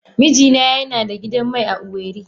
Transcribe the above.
Mijina yana da gidan mai a Owerri.